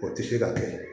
O tɛ se ka kɛ